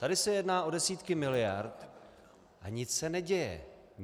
Tady se jedná o desítky miliard, a nic se neděje.